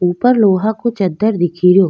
ऊपर लोहा को चदर दिखी रो।